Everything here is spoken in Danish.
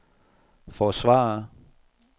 forsvare